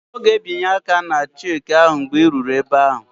Ọ ga-ebinye aka ná cheeki ahụ mgbe ị ruru ebe ahụ